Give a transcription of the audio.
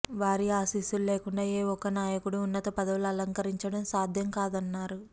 వారి ఆశీస్సులు లేకుండా ఏ ఒక్క నాయకుడూ ఉన్నత పదవులు అలంకరించడం సాధ్యంకాదన్నారు